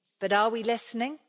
But are we listening?